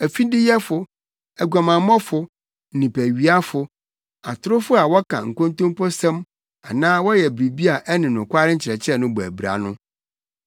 afideyɛfo, aguamammɔfo, nnipawiafo, atorofo a wɔka nkontomposɛm anaa wɔyɛ biribi a ɛne nokware nkyerɛkyerɛ no bɔ abira no.